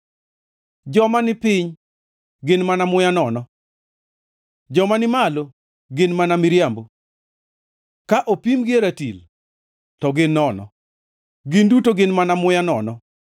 Joma nipiny gin mana muya nono; joma ni malo gin mana miriambo; ka opimgi e ratil, to gin nono; gin duto gin mana muya nono.